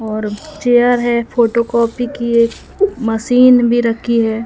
और चेयर है फोटोकॉपी की एक मशीन भी रखी है।